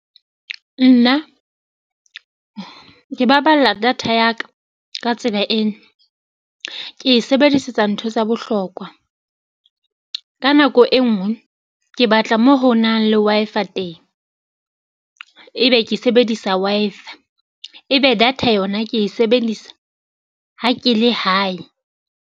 Nna ke baballa data ya ka ka tsela ena, ke e sebedisetsa ntho tsa bohlokwa. Ka nako e nngwe ke batla moo ho nang le teng, ebe ke sebedisa ebe data yona ke e sebedisa ha ke le hae.